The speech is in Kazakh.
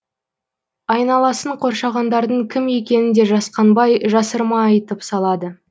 айналасын қоршағандардың кім екенін де жасқанбай жасырмай айтып салады